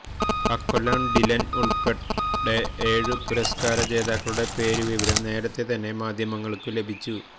അക്കൊല്ലം Dylan ഉൾപ്പെടെ ഏഴു പുരസ്കാര ജേതാക്കളുടെ പേരു വിവരം നേരത്തേ തന്നെ മാധ്യമങ്ങൾക്കു ലഭിച്ചു